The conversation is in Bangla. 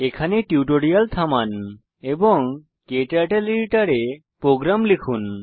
এখানে টিউটোরিয়াল থামান এবং ক্টার্টল এডিটর এ প্রোগ্রাম লিখুন